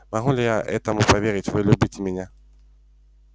могу ли я этому поверить вы любите меня